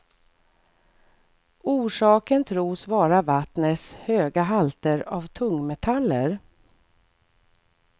Orsaken tros vara vattnets höga halter av tungmetaller.